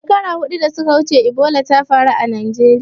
Shekaru huɗu da suka wuce Ebola ta faru a Najeriya.